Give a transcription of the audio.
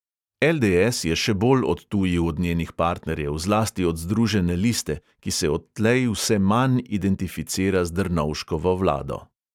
LDS je še bolj odtujil od njenih partnerjev, zlasti od združene liste, ki se odtlej vse manj identificira z drnovškovo vlado.